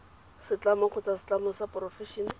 setlamo kgotsa setlamo sa porofense